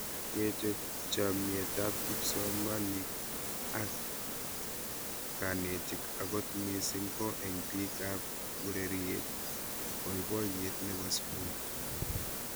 Kechop chomiet ab kipsomanika ak kanetik akot mising' ko eng' pik ab ureriet poipoyet nepo sukul